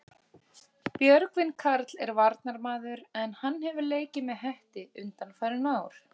Björgvin Karl er varnarmaður en hann hefur leikið með Hetti undanfarin ár.